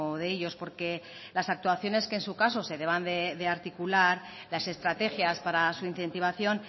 de ellos porque las actuaciones que en su caso se deban de articular las estrategias para su incentivación